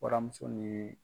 Waramuso ni